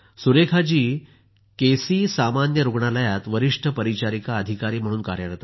Surekha ji K C सामान्य रुग्णालयात वरिष्ठ परिचारिका अधिकारी म्हणून कार्यरत आहेत